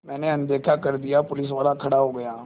मैंने अनदेखा कर दिया पुलिसवाला खड़ा हो गया